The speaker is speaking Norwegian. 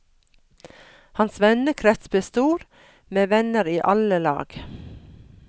Hans vennekrets ble stor, med venner i alle lag.